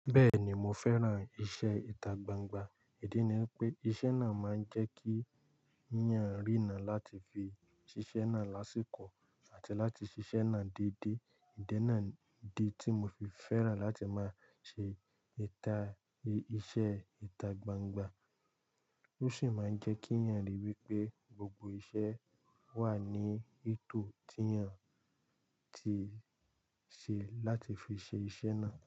Bẹ́ẹ̀ni mo fẹ́ran iṣẹ́ ìta gbangba, ìdí ni pé iṣẹ́ náà máa ń jẹ́ kí èèyàn rína láti fi ṣiṣẹ́ náà lásìkò àti láti ṣiṣẹ́ náà déédé. Ìdí náà idi tí mo fi fẹ́ràn láti máa ṣe ìta, iṣẹ́ ìta gbangba. Ó sì máa ń jẹ́ kí èèyàn ríi wí pé gbogbo iṣẹ́ wà ní ètò tí èèyàn ti ṣe láti fi ṣe iṣẹ́ náà.